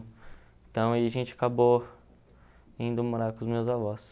Então a gente acabou indo morar com os meus avós.